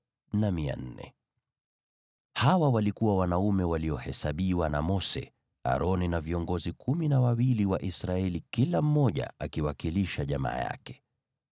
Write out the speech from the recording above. Hawa walikuwa wanaume waliohesabiwa na Mose, Aroni na viongozi kumi na wawili wa Israeli, kila mmoja akiwakilisha jamaa yake.